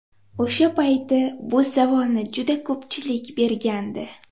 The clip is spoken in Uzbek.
O‘sha payti bu savolni juda ko‘pchilik bergandi.